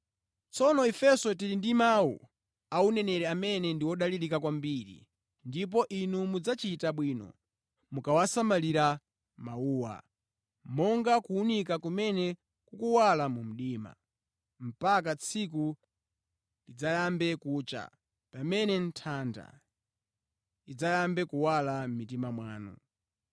Tsono ifenso tili ndi mawu a uneneri amene ndi odalirika kwambiri ndipo inu mudzachita bwino mukawasamalira mawuwa, monga kuwunika kumene kukuwala mu mdima, mpaka tsiku lidzayambe kucha, pamene nthanda idzayambe kuwala mʼmitima mwanu.